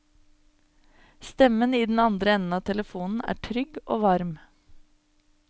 Stemmen i den andre enden av telefonen er trygg og varm.